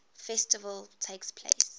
festival takes place